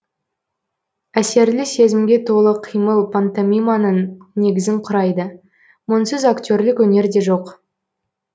әсерлі сезімге толы қимыл пантомиманың негізін құрайды мұнсыз актерлік өнер де жоқ